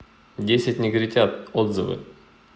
десять негритят отзывы